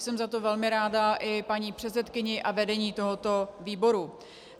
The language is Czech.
Jsem za to velmi ráda i paní předsedkyni a vedení tohoto výboru.